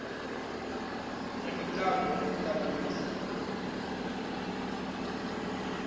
ya mitambo ri ḓo ṱavhanyisa